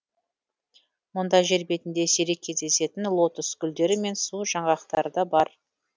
мұнда жер бетінде сирек кездесетін лотос гулдері мен су жаңғақтары да бар